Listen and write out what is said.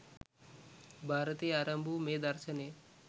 භාරතයෙන් ආරම්භ වූ මේ දර්ශනය